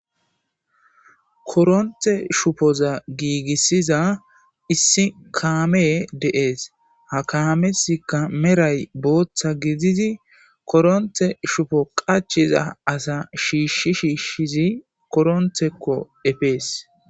koronte shupoza giigissiza issi kaame deees ha kaameska meray booththa gidizi koronte shufo qachiza asa shiishshi shiishshizi koronthekko efees